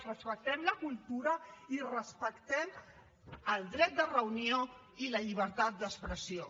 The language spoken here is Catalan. respectem la cultura i respectem el dret de reunió i la llibertat d’expressió